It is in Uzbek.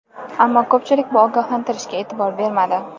Ammo ko‘pchilik bu ogohlantirishga e’tibor bermadi.